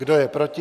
Kdo je proti?